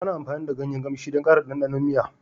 Ana amfani da ganyen ƙamshi don ƙara ɗanɗanon miya